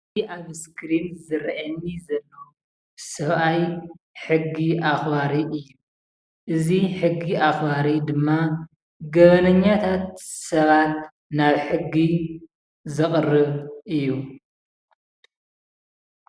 እዚ ኣብ እስክሪን ዝረኣየኒ ዘሎ ሰብኣይ ሕጊ ኣክባሪ እዩ ።እዚ ሕጊ ኣክባሪ ድማ ገበነኛታት ሰባት ናብ ሕጊ ዘቅርብ እዩ።